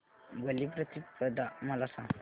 बलिप्रतिपदा मला सांग